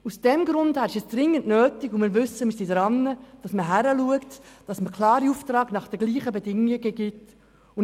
Aus diesem Grund ist es dringend nötig, hinzuschauen und klare Aufträge zu den gleichen Bedingungen zu vergeben.